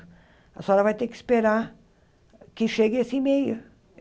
A senhora vai ter que esperar que chegue esse e-mail.